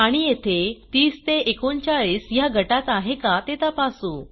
आणि येथे 30 ते 39 ह्या गटात आहे का ते तपासू